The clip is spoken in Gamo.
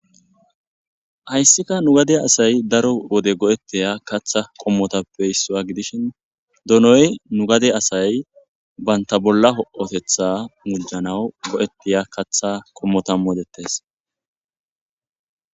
Hayissika nu gade asay daro wode go'ettiya katha qommotappe hissaa gidishin donoy nu gade asay banta bolla ho'otetha mujjanaw go'ettiya katha kommotamodettes